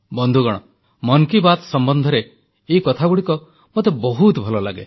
ବନ୍ଧୁଗଣ ମନ କୀ ବାତ୍ ସମ୍ବନ୍ଧରେ ଏହି କଥାଗୁଡ଼ିକ ମୋତେ ବହୁତ ଭଲ ଲାଗେ